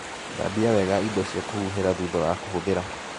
Thambia wega indo cia kũhuhĩra thutha wa kũhũthĩra.